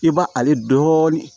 I b' ale dɔɔnin